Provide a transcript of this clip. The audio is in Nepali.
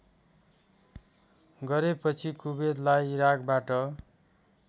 गरेपछि कुबेतलाई इराकबाट